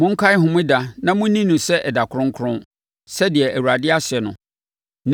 Monkae homeda na monni no sɛ ɛda kronkron, sɛdeɛ Awurade ahyɛ no.